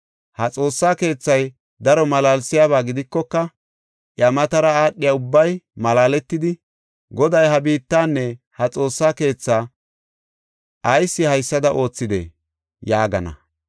Ha Xoossa keethay daro malaalsiyaba gidikoka, iya matara aadhiya ubbay malaaletidi, ‘Goday ha biittanne ha Xoossa keethaa ayis haysada oothidee?’ ” yaagana.